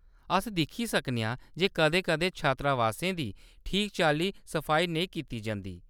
अस दिक्खी सकने आं जे कदें-कदें छात्रावासें दी ठीक चाल्ली सफाई नेईं कीती जंदी ।